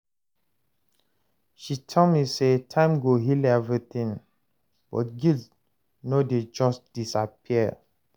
She tell me sey time go heal everytin but guilt no dey just disappear.